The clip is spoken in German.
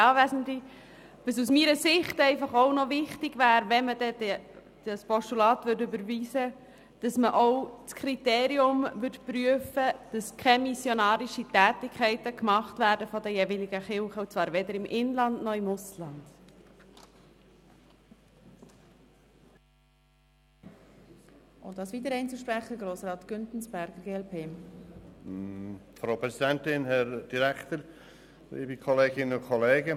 Überweist man dieses Postulat, wäre es aus meiner Sicht wichtig, dass man auch das Kriterium prüfen würde, dass von den jeweiligen Kirchen keine missionarischen Tätigkeiten gemacht werden, weder im Inland noch im Ausland.